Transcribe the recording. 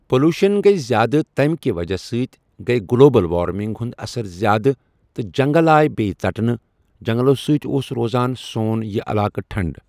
Pollution گے زیادٕ تَمہِ کہِ وجہہ سۭتۍ گے گلوبل وارمِنگ ہُنٛد اَثر زیادٕ تہٕ جنٛگل آے بیٚیہِ ژٹنہٕ جنٛگلو سۭتۍ اوس روزان سون یہِ علاقہٕ ٹھنٛڈ۔